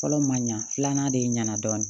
Fɔlɔ ma ɲa filanan de ɲɛna dɔɔnin